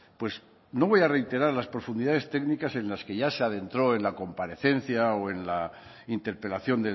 pues no voy a reiterar las profundidades técnicas en las que ya se adentró en la comparecencia o en la interpelación